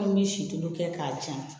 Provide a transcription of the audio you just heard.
An bɛ sitoli kɛ k'a tiɲɛ